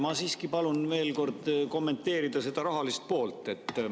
Ma siiski palun veel kord kommenteerida seda rahalist poolt.